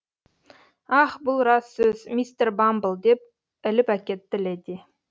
ах бұл рас сөз мистер бамбл деп іліп әкетті леди